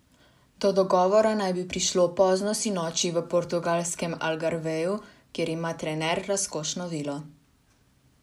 Do dogovora naj bi prišlo pozno sinoči v portugalskem Algarveju, kjer ima trener razkošno vilo.